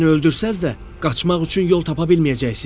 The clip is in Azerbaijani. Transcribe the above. Məni öldürsəz də, qaçmaq üçün yol tapa bilməyəcəksiz.